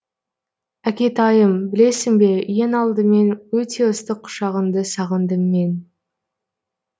әкетайым білесің бе ең алдымен өте ыстық құшағыңды сағындым мен